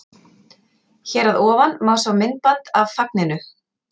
Hér að ofan má sjá myndband af fagninu.